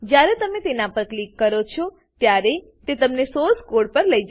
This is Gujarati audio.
જ્યારે તમે તેના પર ક્લિક કરો છો ત્યારે તમને સોર્સ કોડ પર લઇ જશે